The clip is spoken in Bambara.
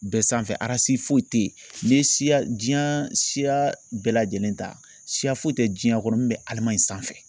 Bɛɛ sanfɛ si foyi tɛ yen n'i ye siya diɲan siya bɛɛ lajɛlen ta siya foyi tɛ diɲɛ kɔnɔ min bɛ Alemaɲi sanfɛ